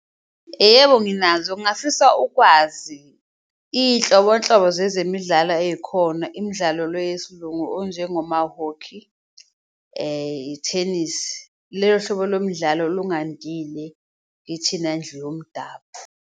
Yebo, nginazo ngafisa ukwazi iyinhlobonhlobo zezemidlalo ey'khona imidlalo le yesiLungu onjengomahokhi ithenisi hlobo lomdlalo olungandile kithina ndlu yomdabu.